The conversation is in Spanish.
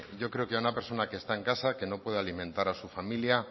yo creo que a una persona que está en casa que no puede alimentar a su familia